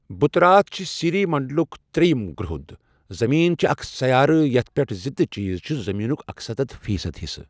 بُتہٕ راتھ چھ سيٖری منٛڈُلک ترٛیٚیم گرٛہُد، زمیٖن چھ اکھ سیارہٕ یَتھ پؠٹھ زِندٕ چیز چھ زٔمیٖنُک اکستتھ فیٖصد حِصہٕ۔